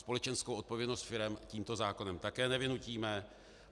Společenskou odpovědnost firem tímto zákonem také nevynutíme.